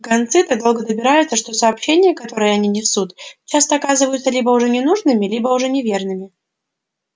гонцы так долго добираются что сообщения которые они несут часто оказываются либо уже ненужными либо уже неверными